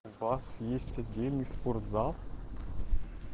у вас есть отдельный спортзал